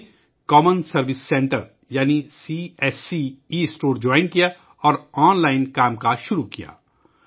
انہوں نے ' common service centre ' یعنی C S C e store join کیا اور آن لائن کام کرنا شروع کیا